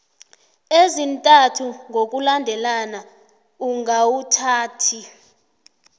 ezintathu ngokulandelana ungawuthathi